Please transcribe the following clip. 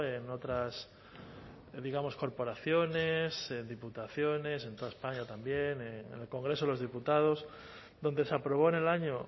en otras digamos corporaciones diputaciones en toda españa también en el congreso de los diputados donde se aprobó en el año